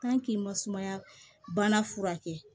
k'i ma sumaya bana furakɛ